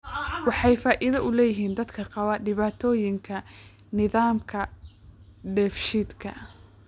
Waxay faa'iido u leeyihiin dadka qaba dhibaatooyinka nidaamka dheefshiidka.